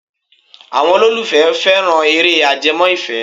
Àwọn olólùfẹ́ fẹ́ran eré ajẹmọ́ ìfẹ́.